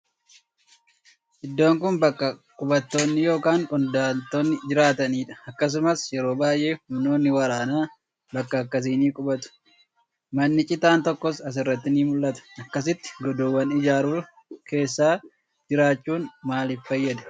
Iddoon kun baqqa qubattoonni yookaan godaantonni jiraatanii dha. Akkasumas, yeroo baay'ee humnoonni waraanaa bakka akkasii ni qubatu. Manni citaan tokkos as irratti ni mul'ata. Akkasitti godoowwan ijaaruun keessa jiraachuun maaliif fayyada?